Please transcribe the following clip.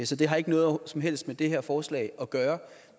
så det har ikke noget som helst med det her forslag at gøre